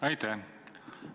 Aitäh!